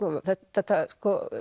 þetta